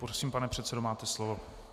Prosím, pane předsedo, máte slovo.